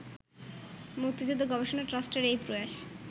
মুক্তিযুদ্ধ গবেষণা ট্রাস্টের এই প্রয়াস